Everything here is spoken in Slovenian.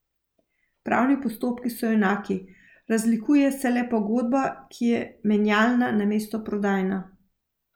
Pravni postopki so enaki, razlikuje se le pogodba, ki je menjalna namesto prodajna.